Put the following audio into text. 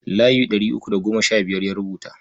Layi ɗari uku da goma sha biyar ya rubuta.